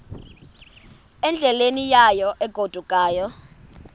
endleleni yayo egodukayo